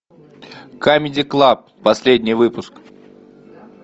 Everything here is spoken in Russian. камеди клаб последний выпуск